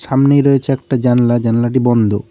সামনেই রয়েছে একটা জানলা জানলাটি বন্ধ।